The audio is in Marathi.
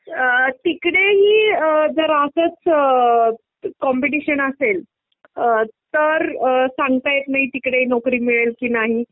तिकडेही अअ जर असंच कॉम्पिटिशन असेल तर अ सांगता येत नाही तिकडे नोकरी मिळेल कि नाही.